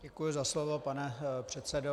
Děkuji za slovo, pane předsedo.